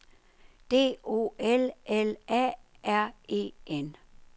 D O L L A R E N